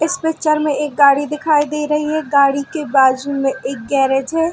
इस पिक्चर में एक गाडी दिखाई दे रही है गाडी के बाजु में एक गेराज है।